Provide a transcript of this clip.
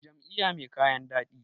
jam`iyya mai kayan dadi